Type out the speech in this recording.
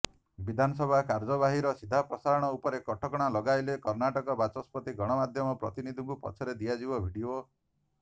ବିଧାନସଭା କାର୍ଯ୍ୟବାହୀର ସିଧାପ୍ରସାରଣ ଉପରେ କଟକଣା ଲଗାଇଲେ କର୍ଣ୍ଣାଟକ ବାଚସ୍ପତି ଗଣମାଧ୍ୟମ ପ୍ରତିନିଧିଙ୍କୁ ପରେ ଦିଆଯିବ ଭିଡିଓ